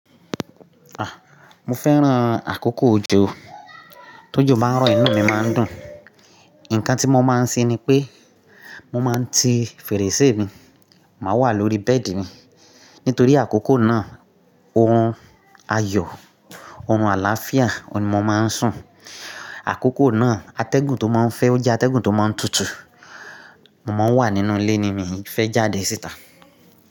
Ah! Mo fẹ́ran àkókò ojó. Tí ojó bá ń rọ, inu mi máa ń dùn. Ǹkan tí mo máa ń ṣe ni pé mo máa ń ti fèrèsé mi, máa wà lórí bẹ́ẹ̀dì mi. Nítorí àkókò náà, orun ayọ̀, orun àlàáfíà ni mó máa ń sùn. Àkókò náà, atẹ́gùn tó máa ń fẹ́ o jẹ́ atẹ́gùn tó máa ń tutù. Mo máa wà nínú ilé ni mi fẹ́ jáde síta.